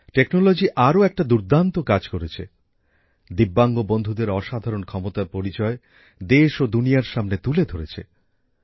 প্রযুক্তি আরও একটা দুর্দান্ত কাজ করেছে ভিন্নভাবে সক্ষম বন্ধুদের অসাধারণ ক্ষমতার পরিচয় দেশ ও দুনিয়ার সামনে তুলে ধরেছে